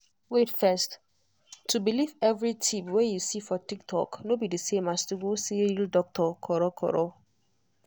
wait first — to believe every tip wey you see for tiktok no be the same as to go see real doctor.